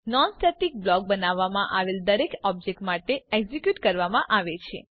non static block બનાવવામાં આવેલ દરેક ઓબ્જેક્ટ માટે એક્ઝીક્યુટ કરવામાં આવે છે